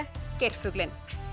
geirfuglinn